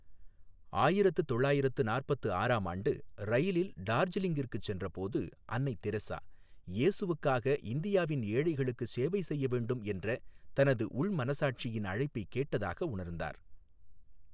ஆயிரத்து தொள்ளாயிரத்து நாற்பத்து ஆறாம் ஆண்டு, ரயிலில் டார்ஜிலிங்கிற்குச் சென்றபோது, அன்னை தெரசா, இயேசுவுக்காக இந்தியாவின் ஏழைகளுக்குச் சேவை செய்ய வேண்டும் என்ற தனது உள் மனசாட்சியின் அழைப்பைக் கேட்டதாக உணர்ந்தார்.